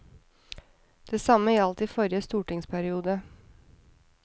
Det samme gjaldt i forrige stortingsperiode.